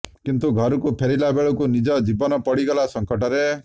କିନ୍ତୁ ଘରକୁ ଫେରିଲା ବେଳକୁ ନିଜ ଜୀବନ ପଡ଼ିଗଲା ସଂକଟରେ